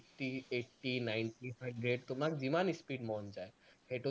eight, ninety, hundred তোমাক যিমান speed মন যায়, সেইটো